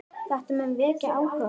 Þetta mun vekja áhuga fólks.